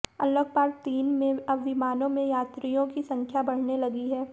unlock part तीन में अब विमानों में यात्रियों की संख्या बढऩे लगी है